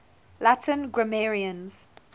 latin grammarians